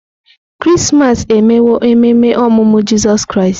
Krismas emewo ememe ọmụmụ Jizọs Kraịst.